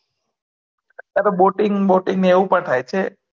ત્યાતો boating boating એવું પણ થાય છે